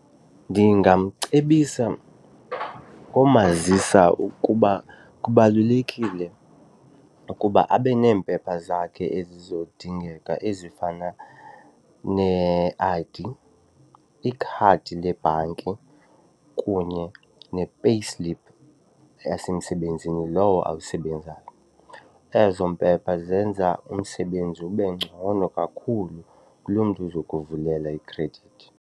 Ndingamcebisa umazisa ukuba kubalulekile ukuba abe neempepha zakhe ezizodingeka ezifana ne-I_D, ikhadi lebhanki kunye ne-payslip yasemsebenzini lowo awusebenzayo. Ezo mpepha zenza umsebenzi ube ngcono kakhulu kuloo mntu uzokuvulela ikhredithi.